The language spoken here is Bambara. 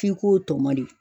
F'i k'o tɔmɔ de